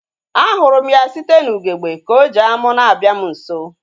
A hụrụ m ya site n'ugegbe ka ọ ji amu na-abịa m nso